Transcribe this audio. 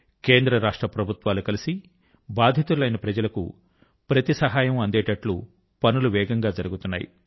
కేంద్ర రాష్ట్ర ప్రభుత్వాలు కలసి బాధితులైన ప్రజల కు ప్రతి యొక్క సహాయం అందించేటట్లు పనులు వేగం గా జరుగుతున్నాయి